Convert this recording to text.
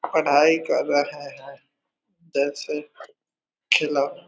पढ़ाई कर रहा है जल्द से खिलो--